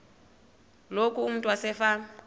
loku umntu wasefama